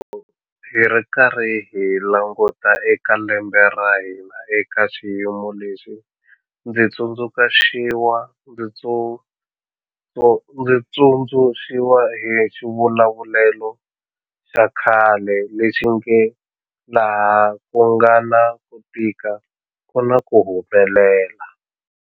Loko hi karhi hi languta eka lembe ra hina eka xiyimo lexi, ndzi tsundzuxiwa hi xivulavulelo xa khale lexi nge 'laha ku nga na ku tika ku na ku humelela.'